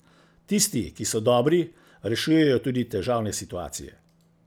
Tisti, ki so dobri, rešujejo tudi težavne situacije.